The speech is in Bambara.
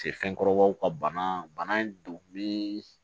fɛnkɔrɔbaw ka bana in donni